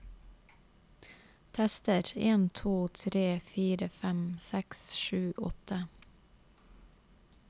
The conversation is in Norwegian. Tester en to tre fire fem seks sju åtte